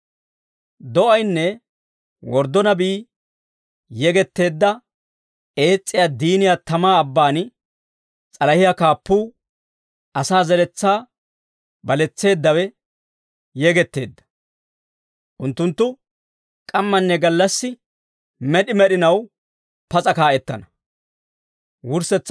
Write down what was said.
Do'aynne worddo nabii yegetteedda ees's'iyaa diiniyaa tamaa abbaan s'alahiyaa kaappuu, asaa zeretsaa baletseeddawe, yegetteedda. Unttunttu k'ammanne gallassi med'i med'inaw pas'a kaa'ettana.